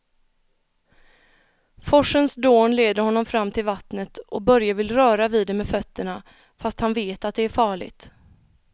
Forsens dån leder honom fram till vattnet och Börje vill röra vid det med fötterna, fast han vet att det är farligt.